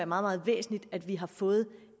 meget væsentligt at vi har fået